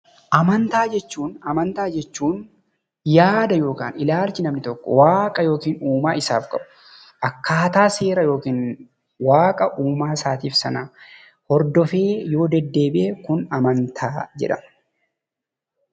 Amantaa jechuun yaada yookaan ilaalcha namni tokko waaqa yookiin uumaa isaaf qabu akkaataa seera yookiin waaqa uumaa isaatiif hordofee yoo deddeebi'e amantaa jedhama.